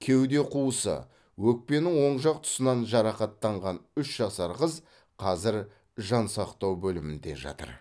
кеуде қуысы өкпенің оң жақ тұсынан жарақаттанған үш жасар қыз қазір жансақтау бөлімінде жатыр